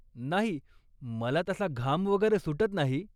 नाही, मला तसा घाम वगैरे सुटत नाही.